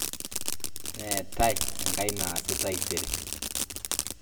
Neetae enkae naasi taisere